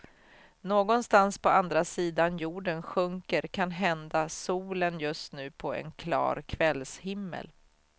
Någonstans på andra sidan jorden sjunker kanhända solen just nu på en klar kvällshimmel.